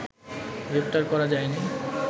গ্রেপ্তার করা যায়নি